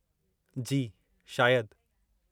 जी, शायदि।